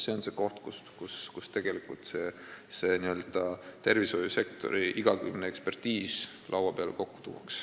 See on see koht, kus see tervishoiusektori n-ö igakülgne ekspertiis laua peale kokku tuuakse.